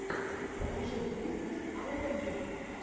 покажи гризнэс ауто груп